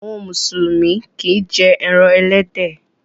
Àwọn mùsùlùmí kìí jẹ ẹran ẹlẹ́dẹ̀.